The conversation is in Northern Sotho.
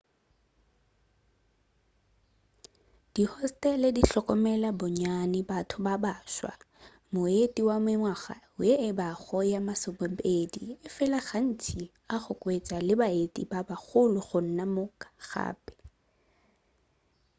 dihostele di hlokomela bonnyane batho ba baswa moeti wa mengwaga ye e ka bago ye masomepedi efela gantši o ka hwetša le baeti ba bagolo gona moo gape